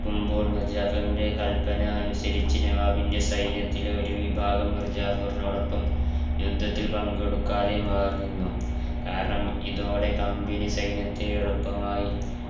നടക്കുമ്പോൾ കൽപ്പന അനുസരിച്ച് നവാബിന്റെസൈന്യത്തിലെ ഒരു വിഭാഗം മിർജഫരിനൊടോപ്പം യുദ്ധത്തിൽ പങ്കെടുക്കാതെ മാറിനിന്നു കാരണം ഇതോടെ company സൈന്യത്തെ എളുപ്പമായി